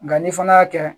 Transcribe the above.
Nka ni fana y'a kɛ